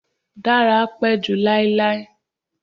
Dara pẹ ju lailai